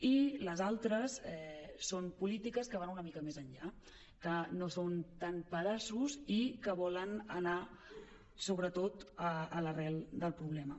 i les altres són polítiques que van una mica més enllà que no són tant pedaços i que volen anar sobretot a l’arrel del problema